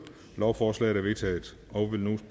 lovforslaget er vedtaget og vil nu